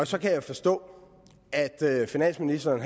så kan jeg forstå at finansministeren